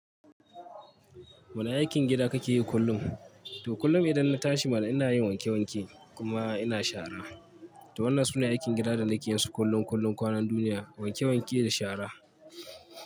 Wane aikin gida kake yi kullum? To kullum idan na tashi mana ina yin wanke wanke kuma ina shara. To wannan sune aikin gida da nake yinsu kullum kullum kwanan duniya wanke wanke da shara.